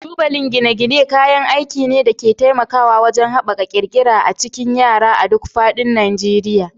Tubalan gine-gine kayan aiki ne da ke taimakawa wajen haɓaka ƙirƙira a cikin yara a duk faɗin Najeriya.